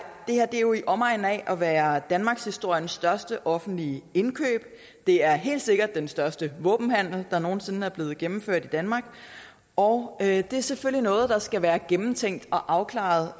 jo i omegnen af at være danmarkshistoriens største offentlige indkøb det er helt sikkert den største våbenhandel der nogen sinde er blevet gennemført i danmark og det er selvfølgelig noget der skal være gennemtænkt og afklaret